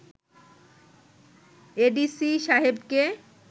ADC সাহেবকে